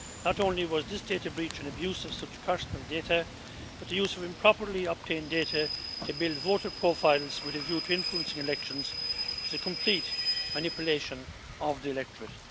Not only was this data breach an abuse of such personal data, but the use of improperly obtained data to build voter profiles with a view to influencing elections was a complete manipulation of the electorate.